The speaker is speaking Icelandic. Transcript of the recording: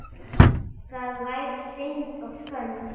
Það væri synd og skömm.